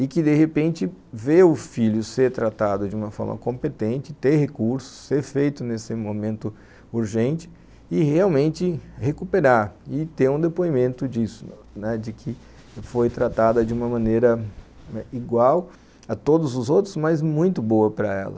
e que de repente vê o filho ser tratado de uma forma competente, ter recurso, ser feito nesse momento urgente e realmente recuperar e ter um depoimento disso, de que foi tratada de uma maneira igual a todos os outros, mas muito boa para ela.